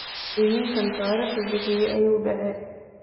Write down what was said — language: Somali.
Iminkan taraqi biyixi ayukudace.